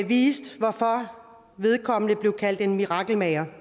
viste hvorfor vedkommende blev kaldt en mirakelmager